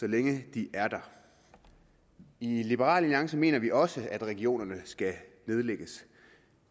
så længe de er der i liberal alliance mener vi også at regionerne skal nedlægges